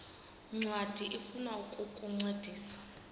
ncwadi ifuna ukukuncedisa